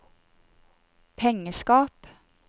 pengeskap